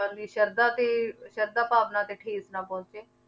ਦੀ ਸਰਧਾ ਤੇ ਸਰਧਾ ਭਾਵਨਾ ਤੇ ਠੇਸ ਨਾ ਪਹੁੰਚੇ